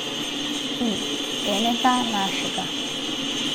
In enega našega.